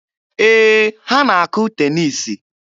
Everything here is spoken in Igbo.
Ee, ha na-akụ teniisi.